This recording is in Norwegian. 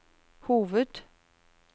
hoved